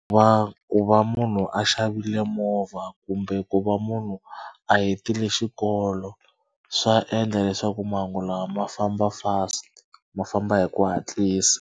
Va ku va munhu a xavile movha kumbe ku va munhu a hetile xikolo swa endla leswaku mahungu lawa ma famba fast ma famba hi ku hatlisa.